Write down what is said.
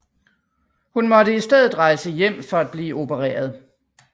Hun måtte i stedet rejse hjem for at blive opereret